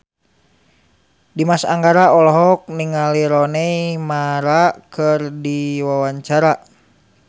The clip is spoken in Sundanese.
Dimas Anggara olohok ningali Rooney Mara keur diwawancara